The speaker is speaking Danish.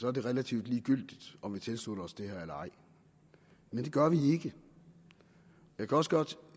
er det relativt ligegyldigt om vi tilslutter os det her eller ej men det gør vi ikke jeg kan også godt